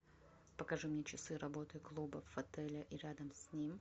покажи мне часы работы клубов отеля и рядом с ним